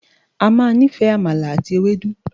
O ma níìfẹ̀ “àmàlà àti ewédú”.